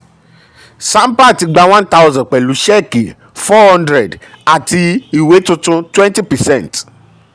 sampat gba one thousand pẹ̀lú ṣẹ́ẹ̀kì four hundred àti ìwé tuntun twenty percent